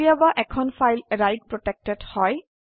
কেতিয়াবা এখন file write protected হয়